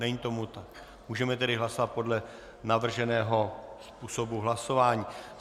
Není tomu tak, můžeme tedy hlasovat podle navrženého způsobu hlasování.